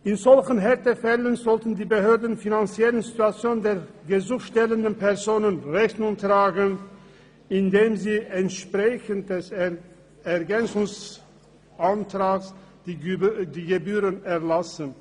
In solchen Härtefällen sollten die Behörden der finanziellen Situation der gesuchstellenden Personen Rechnung tragen, indem sie dem Ergänzungsantrag entsprechend die Gebühren erlassen.